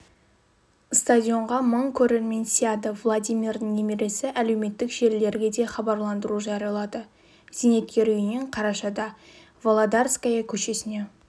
стадионға мың көрермен сыяды владимирдің немересі әлеуметтік желілерге де хабарландыру жариялады зейнеткер үйінен қарашада володарская көшесіне